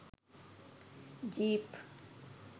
jeep